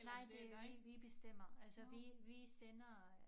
Nej det en vi bestemmer altså vi vi sender øh